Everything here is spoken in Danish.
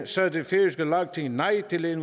sagde det færøske lagting nej til at